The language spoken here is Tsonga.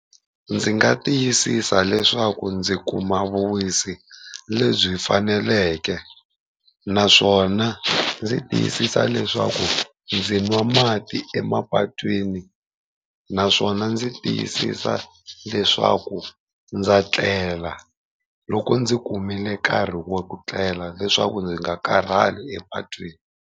Ndzi nga tiyisisa leswaku ndzi kuma vuwisi lebyi faneleke, naswona ndzi tiyisisa leswaku ndzi nwa mati emapatwini naswona ndzi tiyisisa leswaku ndza tlela loko ndzi kumile nkarhi wa ku tlela leswaku ndzi nga karhali epatwini.